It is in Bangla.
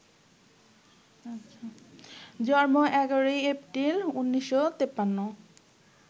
জন্ম ১১ই এপ্রিল, ১৯৫৩